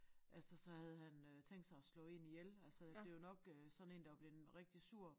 Altså så havde han øh tænkt sig at slå én ihjel altså det jo nok øh sådan én der var blevet rigtig sur